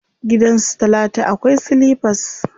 Gidan su talatu akwai silifas.